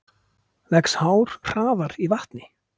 Vex hár hraðar í vatni?